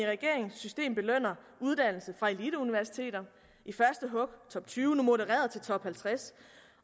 regeringens system belønner uddannelse fra eliteuniversiteter i første hug top tyve nu modereret til top halvtreds